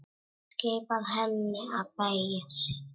Skipar henni að beygja sig.